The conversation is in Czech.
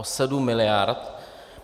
O sedm miliard.